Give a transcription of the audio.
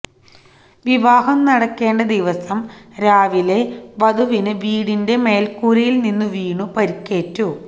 വിവാഹം നടക്കേണ്ട ദിവസം രാവിലെ വധുവിന് വീടിന്റെ മേൽക്കൂരയിൽ നിന്നു വീണു പരുക്കേറ്റു